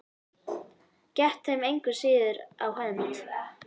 Gekk þeim engu að síður á hönd.